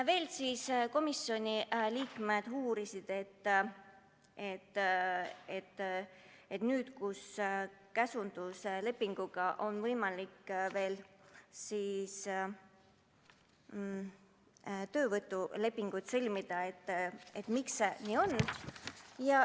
Veel uurisid komisjoni liikmed, et nüüd, kus lisaks käsunduslepingule on võimalik veel töölepinguid sõlmida, et miks see nii on.